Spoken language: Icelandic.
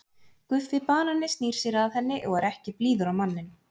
Guffi banani snýr sér að henni og er ekki blíður á manninn.